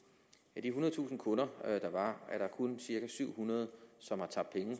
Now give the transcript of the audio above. ethundredetusind kunder er der kun cirka syv hundrede som har tabt penge